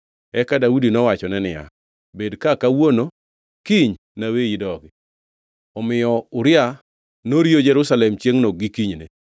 Eka Daudi nowachone niya, “Bed ka kawuono kiny naweyi idog.” Omiyo Uria noriyo Jerusalem chiengʼno gi kinyne.